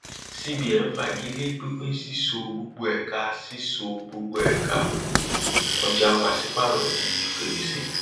cbn fagilé pínpín sísọ gbogbo ẹka sísọ gbogbo ẹka ọjà pàsípàrọ di fèrèsé